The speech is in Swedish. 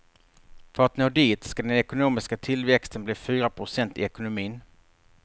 För att nå dit ska den ekonomiska tillväxten bli fyra procent i ekonomin.